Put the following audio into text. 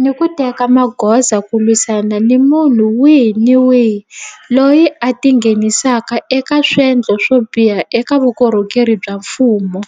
ni ku teka magoza ku lwisana ni munhu wihi ni wihi loyi a tingheni saka eka swendlo swo biha eka vukorhokeri bya mfumo.